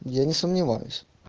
я не сомневаюсь